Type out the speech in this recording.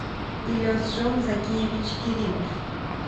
илесжон закиевич керимов